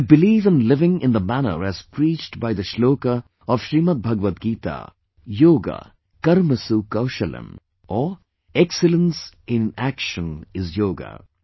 Theybelieve in living in the manner as preached by the shloka of Srimadbhagvad Gita 'Yoga KarmasuKaushalam', or excellence in action is yoga